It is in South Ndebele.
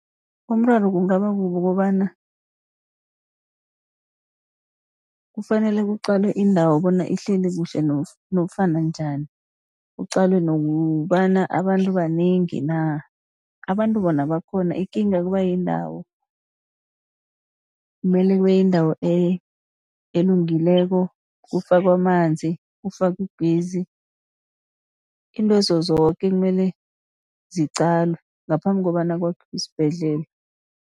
Umraro kungaba kukobana kufanele kuqalwe indawo bona ihleli kuhle nofana njani. Kuqalwe nokobana abantu banengi na, abantu bona bakhona ikinga kuba yindawo. Kumele kube yindawo elungileko kufakwe amanzi, kufakwe , iintwezo zoke kumele ziqalwe ngaphambi kobana kwakhiwe isibhedlela.